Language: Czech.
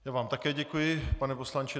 Já vám také děkuji, pane poslanče.